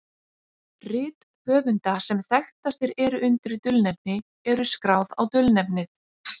Rit höfunda sem þekktastir eru undir dulnefni eru skráð á dulnefnið.